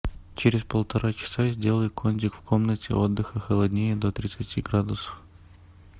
через полтора часа сделай кондик в комнате отдыха холоднее до тридцати градусов